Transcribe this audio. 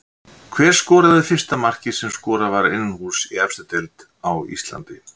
Hver skoraði fyrsta markið sem skorað var innanhúss í efstu deild á Íslandi?